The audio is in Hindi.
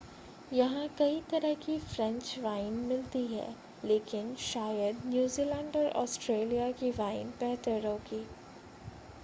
यहां कई तरह की फ़्रेंच वाइन मिलती हैं लेकिन शायद न्यूज़ीलैंड और ऑस्ट्रेलिया की वाइन बेहतर होगी